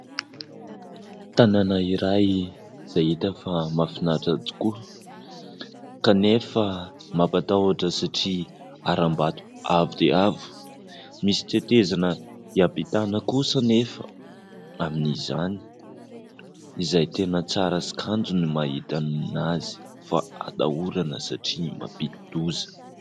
Tanàna iray izay hita fa mahafinaritra tokoa kanefa mampatahotra satria haram-bato avo dia avo. Misy tetezana hiampitana kosa anefa amin'izany izay tena tsara sy kanto ny mahita anazy fa atahorana satria mampidi-doza.